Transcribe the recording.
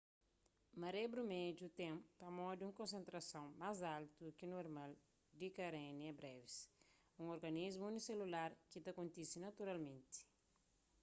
maré brumedju ten pamodi un konsentrason ás altu ki normal di karenia brevis un organismu uniselular ki ta kontise naturalmenti